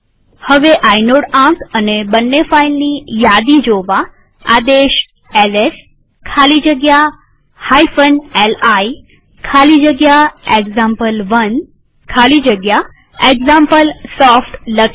હવે આઇનોડ આંક અને બંને ફાઈલની યાદી જોવા આદેશ એલએસ ખાલી જગ્યા li ખાલી જગ્યા એક્ઝામ્પલ1 ખાલી જગ્યા એક્ઝામ્પલસોફ્ટ લખીએ